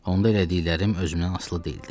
Onda elədiklərim özümdən asılı deyildi.